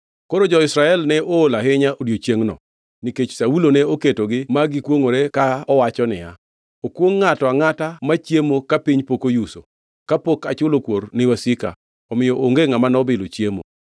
Koro jo-Israel ne ool ahinya odiechiengno, nikech Saulo ne oketogi ma gikwongʼore ka owacho niya, “Okwongʼ ngʼato angʼata machiemo ka piny pok oyuso, kapok achulo kuor ni wasika!” Omiyo onge ngʼama nobilo chiemo.